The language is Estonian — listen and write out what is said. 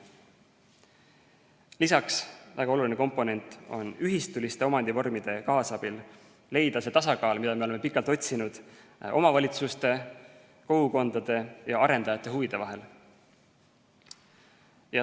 Lisaks väga oluline komponent: ühistuliste omandivormide kaasabil tuleks leida see tasakaal, mida me oleme pikalt otsinud, omavalitsuste, kogukondade ja arendajate huvide vahel.